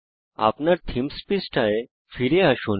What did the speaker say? আপনার থীমস পৃষ্ঠায় ফেরত যান